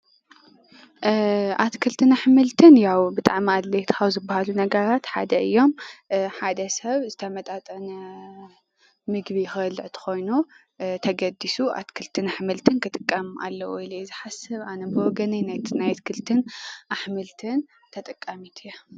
ኣትክልትን ኣሕምልትን ያው ብጣዕሚ ኣድለይቲ ካብ ዝበሃሉ ነገራት ሓደ እዮም ።ሓደ ሰብ ዝተመጣጠነ ምግቢ ክበልዕ እንተኮይኑ ተገዲሱ ኣትክልትን ኣሕምልት ክጥቀም ኣለዎ ኢለ እየ ዝሓስብ ኣነ ብወገነይ ናይ ኣትክልት ኣሕምልትን ተጠቃሚት እየ።